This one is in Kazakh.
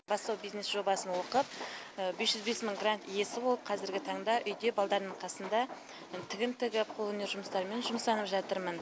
бастау бизнес жобасын оқып бес жүз бес мың грант иесі болып қазіргі таңда үйде балдардың қасында тігін тігіп қолөнер жұмыстарымен жұмыстанып жатырмын